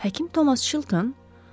Həkim Tomas Çilton?